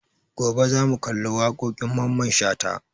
Gobe za mu kalli waƙoƙin Mamman Shata